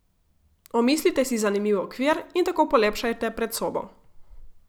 Omislite si zanimiv okvir in tako polepšajte predsobo.